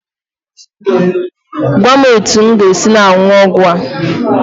Gwa m etu m ga-esi na-aṅụ ọgwụ a.